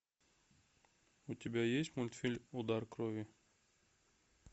у тебя есть мультфильм удар крови